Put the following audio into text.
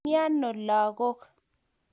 Mieno lagok.